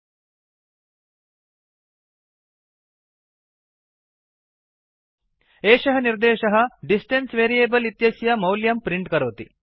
एषः निर्देशः statement distance variable इत्यस्य मौल्यं प्रिंट् करोति